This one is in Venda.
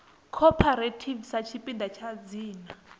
cooperative sa tshipiḓa tsha dzina